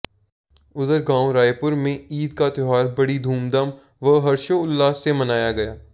उधर गांव रायेपुर में ईद का त्यौहार बड़ी धूमधाम व हर्षोल्लास से मनाया गया